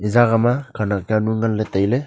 e jagah ma khenak jawnu nganley tailey.